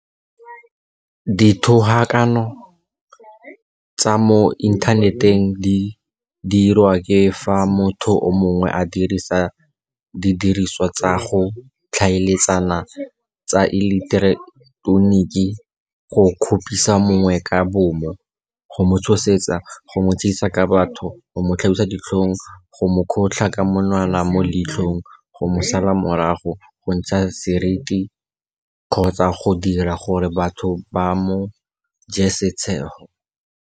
Dithogakano tsa mo inthaneteng di diriwa ke fa motho mongwe a dirisa didirisiwa tsa go tlhaeletsana tsa eleketeroniki go kgopisa mongwe ka bomo, go mo tshosetsa, go mo tshegisa ka batho, go mo tlhabisa ditlhong, go mo kgotlha ka monwana mo leitlhong, go mo sala morago, go mo ntsha seriti kgotsa go dira gore batho ba mo je setshego.